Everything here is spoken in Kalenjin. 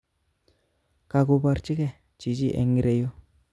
Kakoborchike chichi eng ireyu